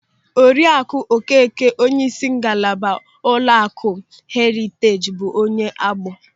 Oriaku Okeke, onyeisi ngalaba ụlọaku Heriteej, bụ onye Agbọ.